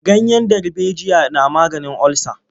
Ganyen darbejiya na maganin olsa.